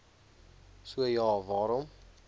so ja waarom